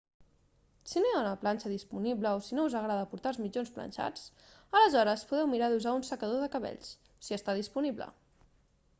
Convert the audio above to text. si no hi ha una planxa disponible o si no us agrada portar els mitjons planxats aleshores podeu mirar d'usar un secador de cabells si està disponible